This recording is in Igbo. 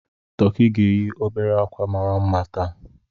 Tọki ga-eyi obere akwa mara mma taa.